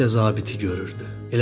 O təkcə zabiti görürdü.